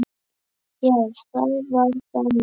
Já, það var þannig.